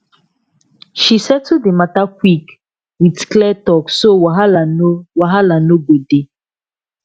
she settle d matta quick with clear talk so wahala no wahala no go dey